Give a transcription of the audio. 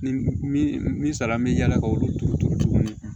Ni min sala bɛ yaala k'olu turu turu tuguni